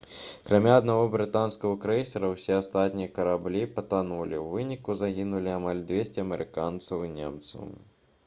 акрамя аднаго брытанскага крэйсера усе астатнія караблі патанулі у выніку загінулі амаль 200 амерыканцаў і немцаў